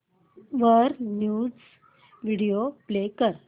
वर news video play कर